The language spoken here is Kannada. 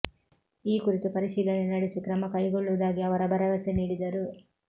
ಈ ಕುರಿತು ಪರಿಶೀಲನೆ ನಡೆಸಿ ಕ್ರಮ ಕೈಗೊಳ್ಳುವುದಾಗಿ ಅವರ ಭರವಸೆ ನೀಡಿದರು